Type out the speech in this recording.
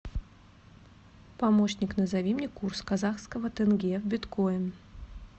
помощник назови мне курс казахского тенге биткоин